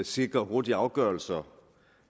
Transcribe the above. sikrer hurtigere afgørelser